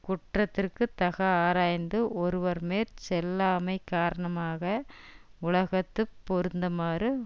குற்றத்திற்கு தக ஆராய்ந்து ஒருவர்மேற் செல்லாமை காரணமாக உலகத்து பொருந்துமாறு